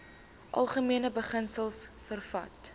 algemene beginsels vervat